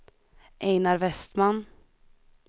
Einar Westman